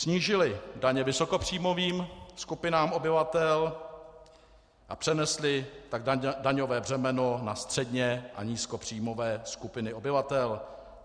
Snížily daně vysokopříjmovým skupinám obyvatel a přenesly tak daňové břemeno na středně- a nízkopříjmové skupiny obyvatel.